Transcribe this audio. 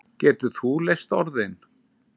Getur þú leyst orðin?